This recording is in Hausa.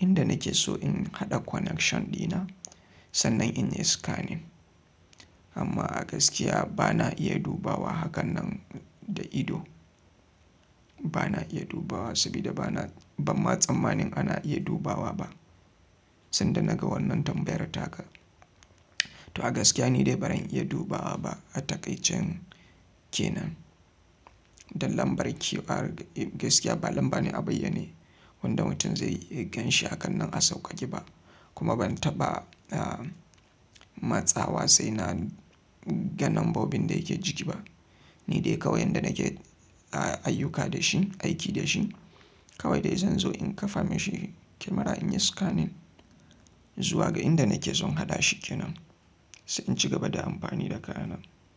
inda nake so in haɗa connection ɗina, sannan in yi scanning. Amma a gaskiya ba na iya dubawa hakan nan da ido. Ba na iya dubawa sabida ba na, ban ma tsammanin ana iya dubawa ba. Sanda naga wannan tambayar taka. To a gaskiya ni dai baran iya dubawa ba a taƙaicen kenan. Dan lambar QR gaskiya ba lamba ne a bayyane. Wanda mutum zai iya ganshi hakan nan a sauƙaƙe ba. Kuma ban taɓa matsawa sai naga nambobin da yake ciki ba. Ni dai kawai yanda nake a ayyuka da shi, aiki da shi. Kawai dai zan zo in kafa mishi kyamara in yi scanning zuwa ga inda nake son haɗa shi ke nan sai in ci gaba da amfani da kayana.